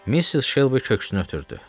Missis Şelbi köksünü ötürdü.